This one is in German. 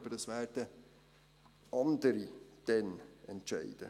Aber dies werden dann andere entscheiden.